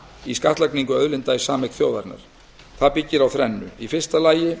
í skattlagningu auðlinda í sameign þjóðarinnar það byggir á þrennu í fyrsta lagi